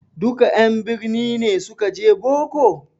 Duka en birni ne suka je boko?